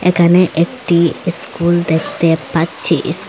এখানে একটি ইস্কুল দেখতে পাচ্ছি ইস--